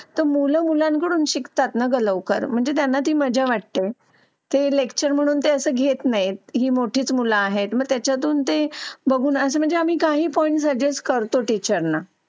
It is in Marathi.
तर मुलं मुलांकडून शिकतात. नगर लवकर म्हणजे त्यांना ती मजा वाटते ते नेक्स्ट इअर म्हणून ते असं घेत नाही ही मोठीच मुलं आहेत. मग त्याच्या दोन ते बघूनच म्हणजे आम्ही काही पॉईंट्स जस्ट करतो टीचरना.